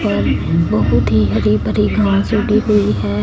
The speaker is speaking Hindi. और बहुत ही हरि भरी घासे दिख रही है।